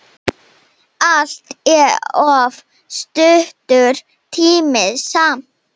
Allt of stuttur tími samt.